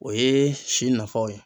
O ye si nafaw ye.